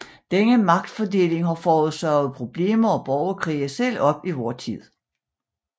Denne magtfordeling har foråsaget problemer og borgerkrige selv op i vor tid